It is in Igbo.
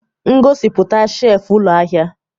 Ngosipụta shelf ụlọ ahịa.